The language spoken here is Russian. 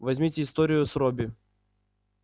возьмите историю с робби